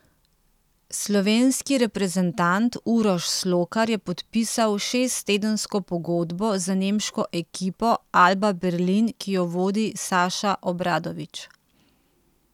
Slovenski reprezentant Uroš Slokar je podpisal šesttedensko pogodbo z nemško ekipo Alba Berlin, ki jo vodi Saša Obradović.